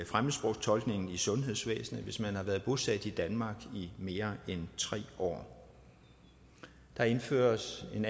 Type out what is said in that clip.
fremmedsprogstolkning i sundhedsvæsenet hvis man har været bosat i danmark i mere end tre år der indføres en